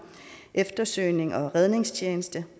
eftersøgnings og redningstjeneste